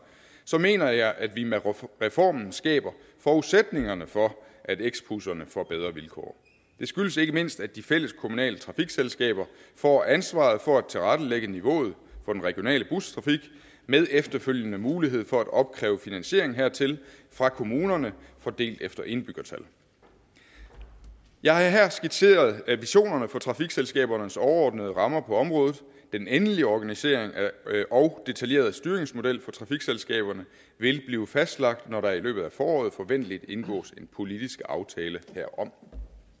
så mener jeg at vi med reformen skaber forudsætningerne for at x busserne får bedre vilkår det skyldes ikke mindst at de fælleskommunale trafikselskaber får ansvaret for at tilrettelægge niveauet for den regionale bustrafik med efterfølgende mulighed for at opkræve finansiering hertil fra kommunerne fordelt efter indbyggertal jeg har her skitseret visionerne for trafikselskabernes overordnede rammer på området den endelige organisering og detaljerede styringsmodel for trafikselskaberne vil blive fastlagt når der i løbet af foråret forventeligt indgås en politisk aftale herom